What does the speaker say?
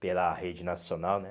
Pela rede nacional, né?